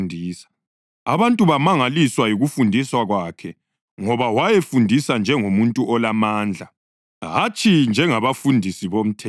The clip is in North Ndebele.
Abantu bamangaliswa yikufundisa kwakhe ngoba wayefundisa njengomuntu olamandla, hatshi njengabafundisi bomthetho.